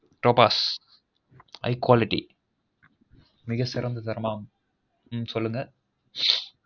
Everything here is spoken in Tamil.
Topaz high quality மிக சிறந்தது ரம்பம் உம் சொல்லுங்க